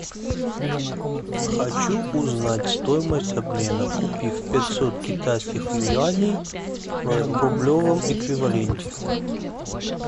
хочу узнать стоимость обмена купив пятьсот китайских юаней в рублевом эквиваленте